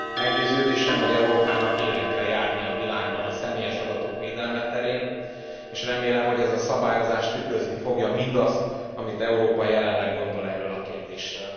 Meggyőződésem, hogy Európának élen kell járnia a világban a személyes adatok védelme terén, és remélem, hogy ez a szabályozás tükrözni fogja mindazt, amit Európa jelenleg gondol erről a kérdésről.